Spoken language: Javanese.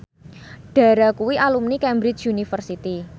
Dara kuwi alumni Cambridge University